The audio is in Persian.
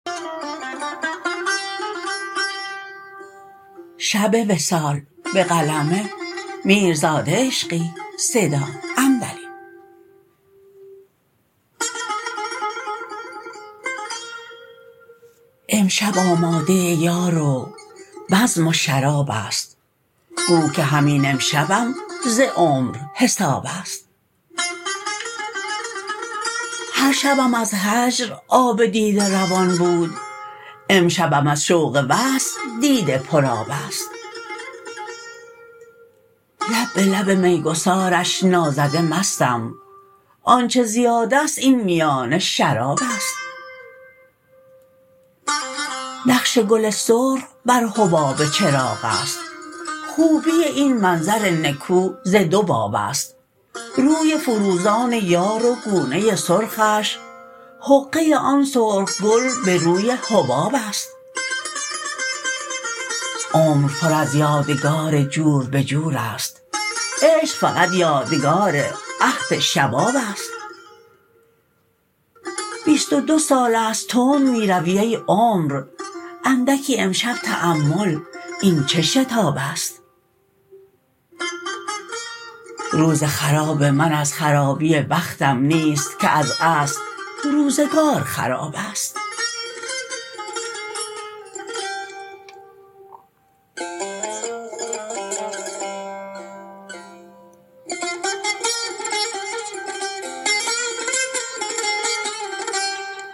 امشب آماده یار و بزم و شرابست گو که همین امشبم ز عمر حسابست هر شبم از هجر آب دیده روان بود امشبم از شوق وصل دیده پرآبست لب به لب میگسارش نازده مستم آنچه زیادست این میانه شرابست نقش گل سرخ بر حباب چراغست خوبی این منظر نکو ز دو بابست روی فروزان یار و گونه سرخش حقه آن سرخ گل به روی حبابست عمر پر از یادگار جور به جور است عشق فقط یادگار عهد شبابست بیست و دو سالست تند می روی ای عمر اندکی امشب تأمل این چه شتابست روز خراب من از خرابی بختم نیست که از اصل روزگار خرابست